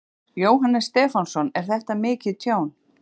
Jóhannes Stefánsson: Er þetta mikið tjón?